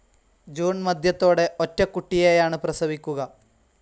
June മധ്യത്തോടെ ഒറ്റക്കുട്ടിയെയാണ് പ്രസവിക്കുക.